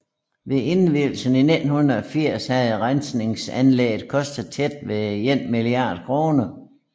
Ved indvielsen i 1980 havde rensningsanlægget kostet tæt ved 1 milliard kroner